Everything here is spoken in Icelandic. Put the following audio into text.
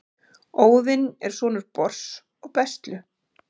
Óðinn er sonur Bors og Bestlu.